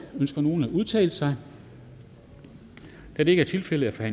ønsker nogen at udtale sig da det ikke er tilfældet er